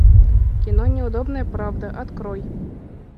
кино неудобная правда открой